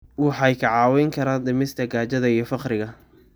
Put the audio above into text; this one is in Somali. Waxay kaa caawin karaan dhimista gaajada iyo faqriga.